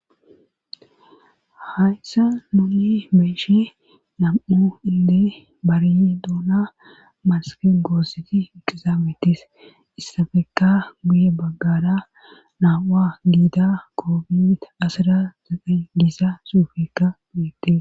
hayssa mole beeshe nam7o ille bariy duuna masaken goosseti iqizaametis issafeka guye baggara na7u7a giida koofita asira deqe giisa suufekka guyette